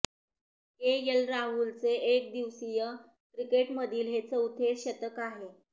KL राहुलचे एकदिवसीय क्रिकेटमधील हे चौथे शतक आहे